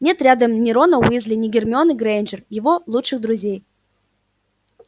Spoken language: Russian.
нет рядом ни рона уизли ни гермионы грэйнджер его лучших друзей